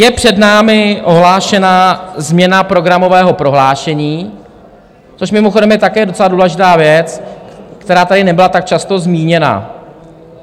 Je před námi ohlášená změna programového prohlášení, což mimochodem je také docela důležitá věc, která tady nebyla tak často zmíněna.